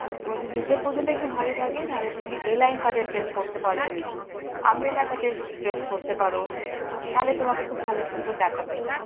তো ওদের নিচের portion টা একটু ভারী থাকে তাহলে তুমি a line dress পোরতে পারো, umbrella cut dress পড়তে পারো, তাহলে তোমাকে খুব ভালো সুন্দর দেখাবে